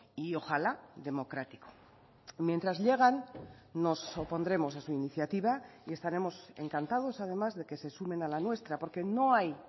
y ojalá democrático mientras llegan nos opondremos a su iniciativa y estaremos encantados además de que se sumen a la nuestra porque no hay